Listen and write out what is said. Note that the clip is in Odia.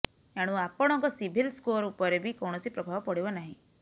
ଏଣୁ ଆପଣଙ୍କ ସିଭିଲ ସ୍କୋର ଉପରେ ବି କୌଣସି ପ୍ରଭାବ ପଡିବ ନାହିଁ